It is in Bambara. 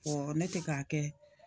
ne tɛ k'a kɛ